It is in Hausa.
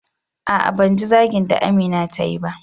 A'a ban ji zagin da Amina tayi ba.